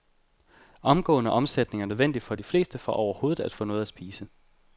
Omgående omsætning er nødvendigt for de fleste for overhovedet at få noget at spise.